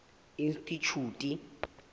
institjhute